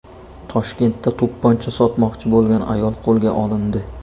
Toshkentda to‘pponcha sotmoqchi bo‘lgan ayol qo‘lga olindi.